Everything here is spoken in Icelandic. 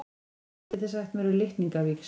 Hvað getið þið sagt mér um litningavíxl?